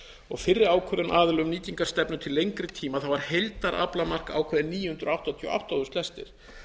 og fyrri ákvörðun aðila um nýtingarstefnu til lengri tíma var heildaraflamark ákveðið níu hundruð áttatíu og átta þúsund lestir